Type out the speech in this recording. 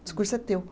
O discurso é teu.